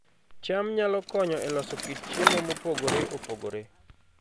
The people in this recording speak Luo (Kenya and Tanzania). cham nyalo konyo e loso kit chiemo mopogore opogore